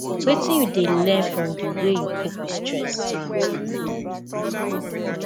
wetin you dey learn from di way you cope with stress